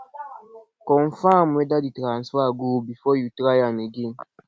confirm whether di transfer go before you try am again